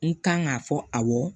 N kan k'a fɔ awɔ